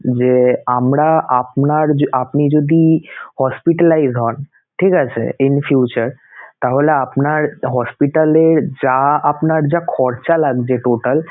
যে আমরা আপনার~ আপনি যদি hospitalized হন ঠিক আছে in future, তাহলে আপনার hospital এ যা আপনার যা খরচা লাগবে total